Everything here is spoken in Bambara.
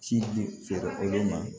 Ci di feere olu ma